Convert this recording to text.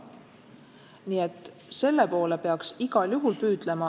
Nii et selle poole peaks igal juhul püüdlema.